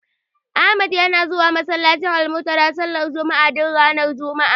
Ahmad yana zuwa masallacin Almuntadha sallar juma'a, duk ranar juma'a.